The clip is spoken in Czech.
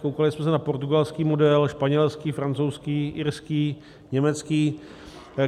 Koukali jsme se na portugalský model, španělský, francouzský, irský, německý.